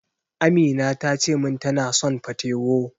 Amina tace min tana son patewo.